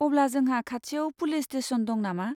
अब्ला, जोंहा खाथियाव पुलिस स्टेसन दं नामा?